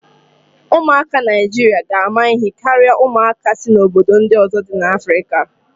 Ụmụaka Naijiria ga ama ihe karịa ụmụaka si obodo ndị ọzọ dị n'Afrika.